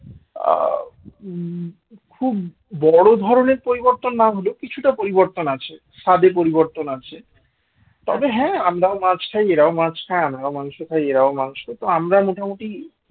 আ খুব বড় ধরনের পরিবর্তন না হলেও কিছুটা পরিবর্তন আছে স্বাদের পরিবর্তন আছে তবে হ্যাঁ আমরাও মাছ খাই এরাও মাছ খায় আমরাও মাংস খাই এরাও মাংস তো আমরা মোটামুটি